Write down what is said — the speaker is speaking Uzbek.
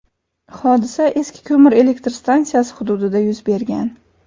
Hodisa eski ko‘mir elektr stansiyasi hududida yuz bergan.